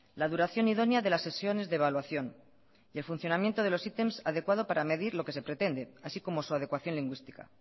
la duración idónea de las sesiones de evaluación y el funcionamiento de los ítems adecuado para medir lo que se pretende así como su adecuación lingüística